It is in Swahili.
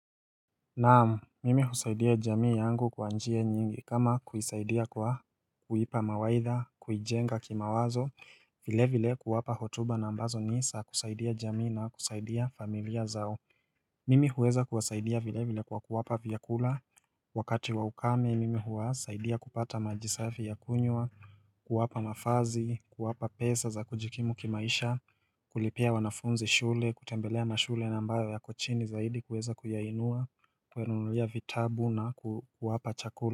Naam, mimi husaidia jamii yangu kwa njia nyingi kama kuisaidia kwa kuipa mawaidha, kuijenga kimawazo vile vile kuwapa hotuba na ambazo nisa kusaidia jamii na kusaidia familia zao Mimi huweza kuwasaidia vile vile kwa kuwapa vyakula Wakati wa ukame mimi huwasaidia kupata maji safi ya kunywa kuwapa mafazi, kuwapa pesa za kujikimu kimaisha kulipia wanafunzi shule, kutembelea mashule ambayo yako chini zaidi kuweza kuyainua kuwanunulia vitabu na kuwapa chakula.